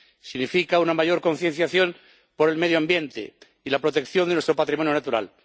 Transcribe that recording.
Significa una mayor concienciación por el medio ambiente y la protección de nuestro patrimonio natural.